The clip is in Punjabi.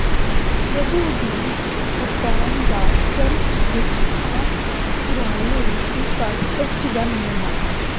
ਪ੍ਰਭੂ ਦੀ ਰੂਪਾਂਤਰਣ ਦਾ ਚਰਚ ਇੱਕ ਆਮ ਪੁਰਾਣੇ ਰੂਸੀ ਘਰ ਚਰਚ ਦਾ ਨਮੂਨਾ ਹੈ